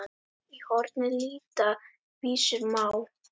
Í horni líta vísur má.